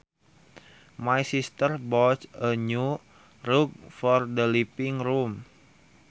My sister bought a new rug for the living room